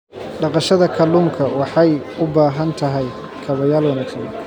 Dhaqashada kalluunka waxay u baahan tahay kaabayaal wanaagsan.